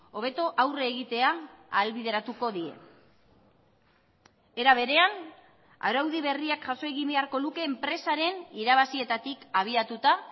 hobeto aurre egitea ahalbideratuko die era berean araudi berriak jaso egin beharko luke enpresaren irabazietatik abiatuta